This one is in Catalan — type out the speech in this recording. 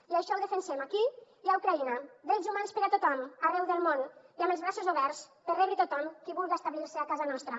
i això ho defensem aquí i a ucraïna drets humans per a tothom arreu del món i amb els braços oberts per rebre tothom qui vulga establir se a casa nostra